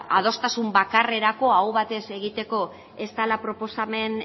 adostasun bakarrerako aho batez egiteko ez dela proposamen